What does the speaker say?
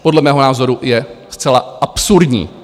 Podle mého názoru je zcela absurdní.